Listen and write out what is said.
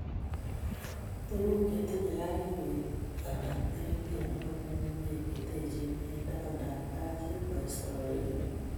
Tuguuk che tinyei kariik koik anan irimeet ne po ng'ung'unyek che teechei eng' tabandap tait si ma istoegei.